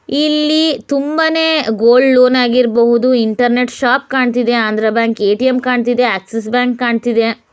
ಇಲ್ಲಿ ತುಂಬನೇ gold loan ಆಗಿರ್ಬೋದು ಇಂಟರ್ನೆಟ್ ಶಾಪ್ ಕಾಣ್ತಿದೆ ಆಂಧ್ರ ಬ್ಯಾಂಕ್ ಎ.ಟಿ.ಎಮ್ ಕಾಣ್ತಿದೆ ಆಕ್ಸಿಸ್ ಬ್ಯಾಂಕ್ ಕಾಣ್ತಿದೆ.